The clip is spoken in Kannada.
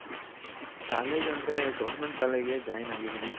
college ಅಂದ್ರೆ Government College ಗೆ Join ಆಗಿದಿನಿ